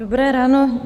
Dobré ráno.